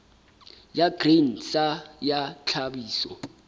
ya grain sa ya tlhahiso